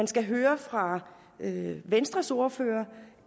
skal høre fra venstres ordfører